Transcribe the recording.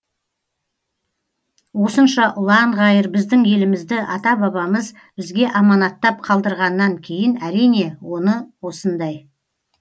осынша ұлан ғайыр біздің елімізді ата бабамыз бізге аманаттап қалдырғаннан кейін әрине оны осындай